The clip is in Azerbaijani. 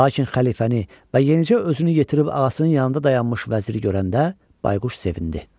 Lakin xəlifəni və yenicə özünü yetirib ağasının yanında dayanmış vəziri görəndə bayquş sevindi.